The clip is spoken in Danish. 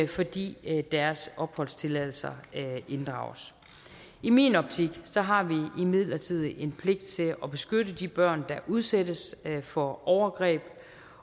fordi deres opholdstilladelser inddrages i min optik har vi imidlertid en pligt til at beskytte de børn der udsættes for overgreb